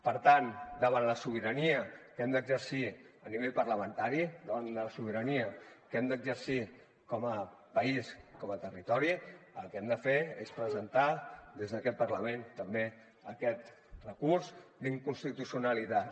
per tant davant la sobirania que hem d’exercir a nivell parlamentari davant la sobirania que hem d’exercir com a país com a territori el que hem de fer és presentar des d’aquest parlament també aquest recurs d’inconstitucionalitat